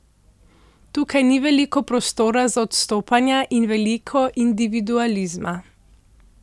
Tukaj ni veliko prostora za odstopanja in veliko individualizma.